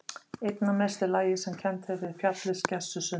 Einna mest er lagið sem kennt er við fjallið Skessu sunnan